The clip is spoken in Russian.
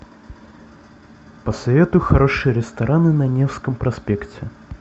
посоветуй хорошие рестораны на невском проспекте